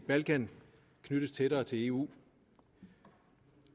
balkan knyttes tættere til eu